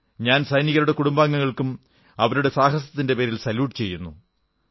ഞാൻ സൈനികരുടെ കുടുംബാംഗങ്ങളേയും അവരുടെ സാഹസത്തിന്റെ പേരിൽ സല്യൂട് ചെയ്യുന്നു